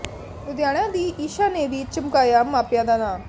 ਲੁਧਿਆਣਾ ਦੀ ਈਸ਼ਾ ਨੇ ਵੀ ਚਮਕਾਇਆ ਮਾਪਿਆਂ ਦਾ ਨਾਂ